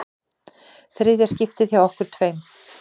Þriðja skiptið hjá okkur tveim.